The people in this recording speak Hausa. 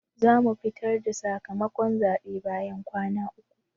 zamu fitar da sakamakon zabe bayan kwana uku.